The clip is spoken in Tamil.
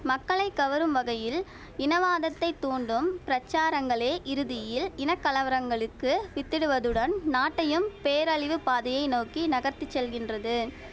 மக்களை கவரும் வகையில் இன வாதத்தை தூண்டும் பிரசாரங்களே இறுதியில் இன கலவரங்களுக்கு வித்திடுவதுடன் நாட்டையும் பேரழிவு பாதையை நோக்கி நகர்த்திச் செல்கின்றது